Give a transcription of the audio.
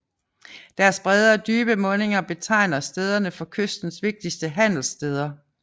Deres brede og dybe mundinger betegner stederne for kystens vigtigste handelsstæder